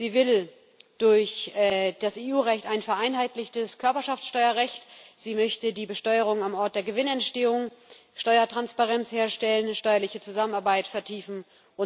Sie will durch das EU Recht ein vereinheitlichtes Körperschaftsteuerrecht, sie möchte die Besteuerung am Ort der Gewinnentstehung, Steuertransparenz herstellen, steuerliche Zusammenarbeit vertiefen usw.